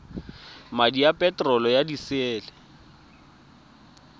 madi a peterolo ya disele